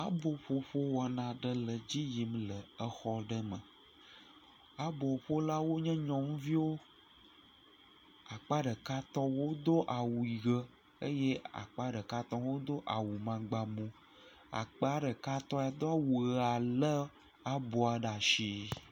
Aboƒoƒo wɔna aɖe le edzi yim le exɔ ɖe me, aboƒolawo nye nyɔnuviwo, akpa ɖekatɔwo do awu ʋe eye akpa ɖekatɔwo hã do awu amagbamu, akpa ɖekatɔ ya do awu ʋea lé aboa ɖe asi.